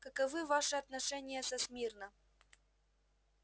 каковы ваши отношения со смирно